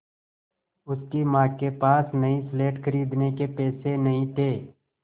उसकी माँ के पास नई स्लेट खरीदने के पैसे नहीं थे